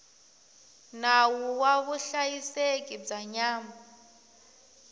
nawu wa vuhlayiseki bya nyama